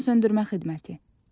Yanğınsöndürmə xidməti.